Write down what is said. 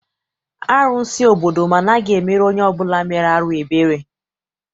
Arụsị obodo m anaghị emere onye ọbụla mere arụ ebere.